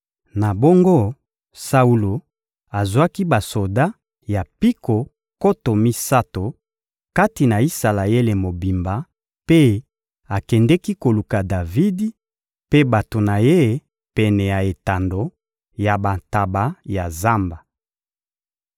Na bongo, Saulo azwaki basoda ya mpiko nkoto misato kati na Isalaele mobimba mpe akendeki koluka Davidi mpe bato na ye pene ya etando ya bantaba ya zamba.